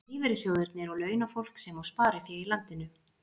Það eru lífeyrissjóðirnir og launafólk sem á sparifé í landinu.